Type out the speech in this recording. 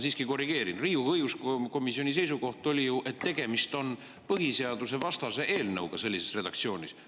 Riigikogu õigus seisukoht oli ju, et tegemist on põhiseadusevastase eelnõuga sellises redaktsioonis.